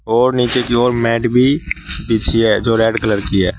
और नीचे की ओर मैट भी बिछी है जो रेड कलर की है।